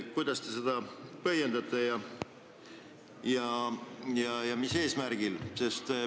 Kuidas te seda põhjendate ja mis on eesmärk?